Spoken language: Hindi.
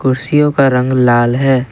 कुर्सियों का रंग लाल है।